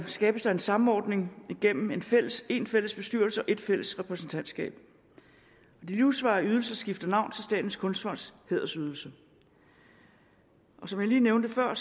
skabes der en samordning igennem én fælles én fælles bestyrelse og ét fælles repræsentantskab de livsvarige ydelser skifter navn til statens kunstfonds hædersydelse og som jeg lige nævnte før